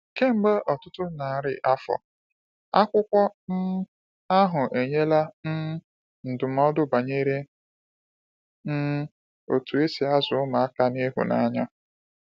Kemgbe ọtụtụ narị afọ, akwụkwọ um ahụ enyela um ndụmọdụ banyere um otú e si azụ ụmụaka n’ịhụnanya.